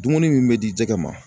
Dumuni min bɛ di jɛgɛ ma.